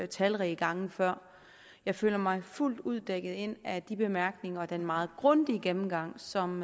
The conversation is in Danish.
talrige gange før jeg føler mig fuldt ud dækket ind af de bemærkninger og den meget grundige gennemgang som